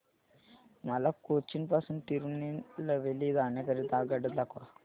मला कोचीन पासून तिरूनेलवेली जाण्या करीता आगगाड्या दाखवा